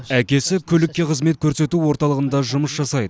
әкесі көлікке қызмет көрсету орталығында жұмыс жасайды